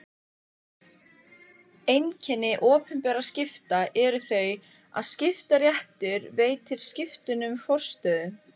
Einkenni opinberra skipta eru þau að skiptaréttur veitir skiptunum forstöðu.